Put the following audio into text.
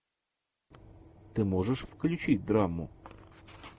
ты можешь включить драму